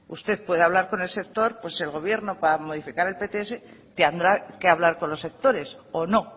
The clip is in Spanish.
usted puede hablar con el sector pues el gobierno para modificar el pts tendrá que hablar con los sectores o no